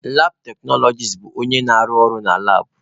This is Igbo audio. Labụ teknọlọgis bụ onye na-arụ ọrụ na labụ.